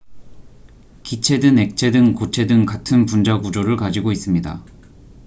기체든 액체든 고체든 같은 분자 구조를 가지고 있습니다